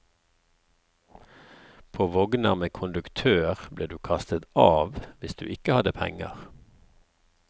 På vogner med konduktør ble du kastet av hvis du ikke hadde penger.